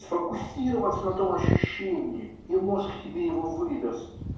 сфокусировать на тои ощущении и мозг тебе его выдаст